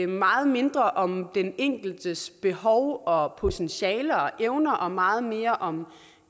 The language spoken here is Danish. meget mindre om den enkeltes behov og potentiale og evner og meget mere om